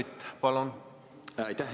Aitäh!